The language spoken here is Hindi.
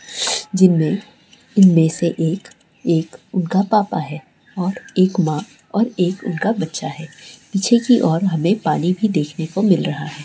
जिनमे उनमे से एक- एक घा पापा है और एक माँ है और एक उनका बच्चा है पीछे की और हमें पानी भी देखने को मिल रहा है।